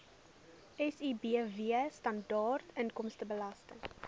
sibw standaard inkomstebelasting